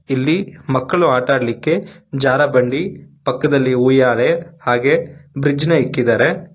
ಇಲ್ಲಿ ಮಕ್ಕಳು ಆಟಾಡ್ಲಿಕ್ಕೆ ಜಾರಬಂಡಿ ಪಕ್ಕದಲ್ಲಿ ಉಯ್ಯಾಲೆ ಹಾಗೆ ಬ್ರಿಡ್ಜ್ ನ ಇಟ್ಟಿದ್ದಾರೆ. ಹಾಗ್--